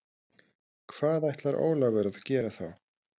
Hvað ætlar Ólafur að gera þá?